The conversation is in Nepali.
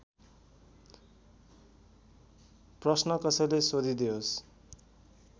प्रश्न कसैले सोधिदेओस्